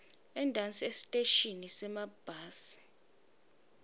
entasi esiteshini semabhasi